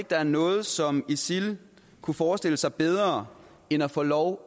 der er noget som isil kunne forestille sig bedre end at få lov